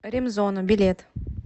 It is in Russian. ремзона билет